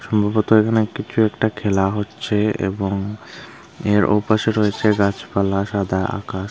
মূলত এখানে একটি খে একটা খেলা হচ্ছে এবং এর ওপাশে রয়েছে গাছপালা সাদা আকাশ।